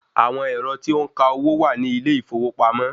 Àwọn ẹ̀rọ tí ó ń ka owó wà ní ilé ìfowópamọ́.